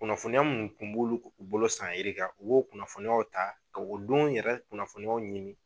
Kunnafoniya minnu kun b'olu bolo san yirika u b'o kunnafoniyaw ta ka o don yɛrɛ kunnafoniyaw ɲini.